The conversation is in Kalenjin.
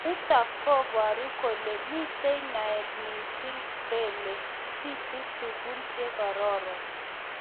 Nitok koburu kole mitei naet missing kele bitu tukun chekororon.